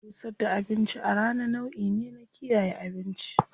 Busar da abinci a rana nau'i ne na kiyaye abinci.